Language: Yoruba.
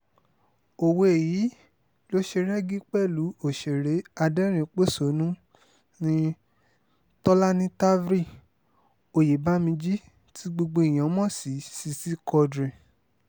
òwe yìí ló ṣe rẹ́gí pẹ̀lú òṣèré aderin-pọ̀ṣónú nni tolani tavri oyebamiji tí gbogbo èèyàn mọ̀ sí sisi quadri